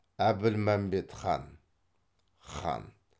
әбілмәмбет хан хан